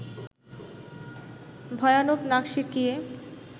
ভয়ানক নাক সিঁটকিয়ে